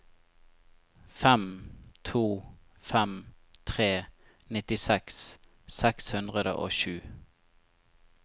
fem to fem tre nittiseks seks hundre og sju